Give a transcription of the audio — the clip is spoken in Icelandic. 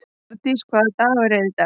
Bjarndís, hvaða dagur er í dag?